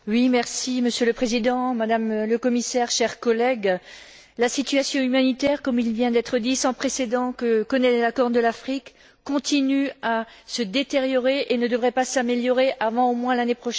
Monsieur le Président, Madame le Commissaire, chers collègues, la situation humanitaire sans précédent que connaît la Corne de l'Afrique continue à se détériorer et ne devrait pas s'améliorer avant au moins l'année prochaine.